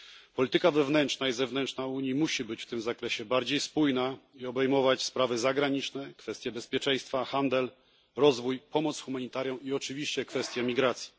Polityka wewnętrzna i zewnętrzna Unii musi być w tym zakresie bardziej spójna i obejmować sprawy zagraniczne, kwestie bezpieczeństwa, handel, rozwój, pomoc humanitarną i oczywiście kwestię migracji.